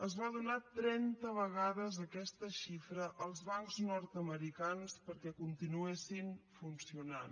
es va donar trenta vegades aquesta xifra als bancs nord americans perquè continuessin funcionant